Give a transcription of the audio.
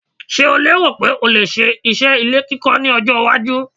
Ṣeh o lérò pé o lè ṣe iṣẹ́ ilé kíkọ́ ní ọjọ́-iwájú?